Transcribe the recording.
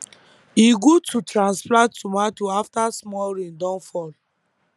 e good to transplant tomato after small rain don fall